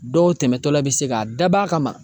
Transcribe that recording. Dɔw tɛmɛtɔla bɛ se k'a dab'a kama.